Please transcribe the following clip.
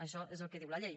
això és el que diu la llei